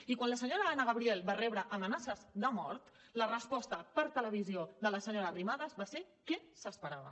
i quan la senyora anna gabriel va rebre amenaces de mort la resposta per televisió de la senyora arrimadas va ser què s’esperava